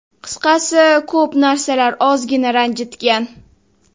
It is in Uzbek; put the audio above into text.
Qisqasi ko‘p narsalar ozgina ranjitgan.